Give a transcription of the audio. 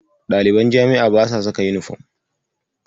Ɗaliban jami'a basa saka yunifom.